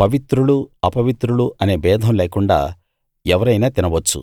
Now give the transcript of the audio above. పవిత్రులు అపవిత్రులు అనే భేదం లేకుండ ఎవరైనా తినవచ్చు